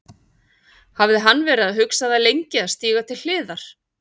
Hafði hann verið að hugsa það lengi að stíga til hliðar?